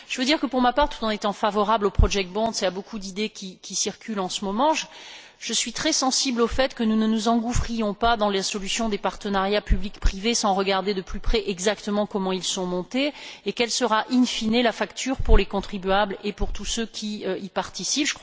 Je veux dire que, pour ma part, tout en étant favorable aux project bonds et à beaucoup d'idées qui circulent en ce moment, je suis très sensible au fait que nous ne nous engouffrions pas dans la solution des partenariats public privé sans regarder de plus près exactement comment ils sont montés, et quelle sera, in fine la facture pour les contribuables et pour tous ceux qui y participent.